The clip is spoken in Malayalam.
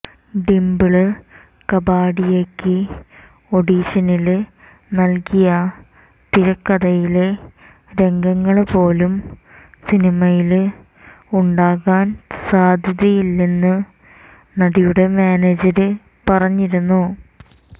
ഡിംപിള് കപാഡിയയ്ക്ക് ഓഡിഷനില് നല്കിയ തിരക്കഥയിലെ രംഗങ്ങള് പോലും സിനിമയില് ഉണ്ടാകാൻ സാധ്യതയില്ലെന്ന് നടിയുടെ മാനേജര് പറഞ്ഞിരുന്നു